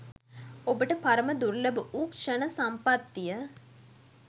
ඔබට පරම දුර්ලභ වූ ක්ෂණ සම්පත්තිය